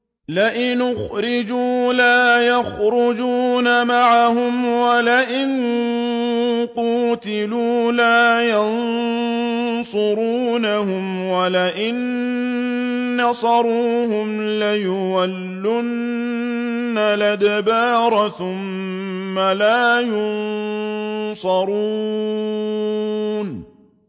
لَئِنْ أُخْرِجُوا لَا يَخْرُجُونَ مَعَهُمْ وَلَئِن قُوتِلُوا لَا يَنصُرُونَهُمْ وَلَئِن نَّصَرُوهُمْ لَيُوَلُّنَّ الْأَدْبَارَ ثُمَّ لَا يُنصَرُونَ